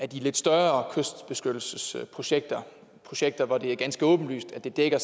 de lidt større kystbeskyttelsesprojekter projekter hvor det er ganske åbenlyst at det dækker